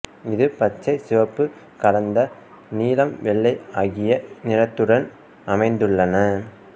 இது பச்சை சிவப்பு கலந்த நீலம் வெள்ளை ஆகிய நிறத்துடன் அமைந்துள்ளன